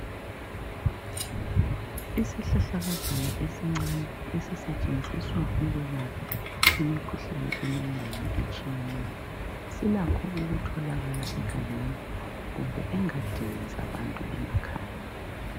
Isihlahlakazana esincane esisetshenziswa ukwelapha imikhuhlane eminengi etshiyeneyo, silakho ukutholakala egangeni kumbe engadini zabantu emakhaya.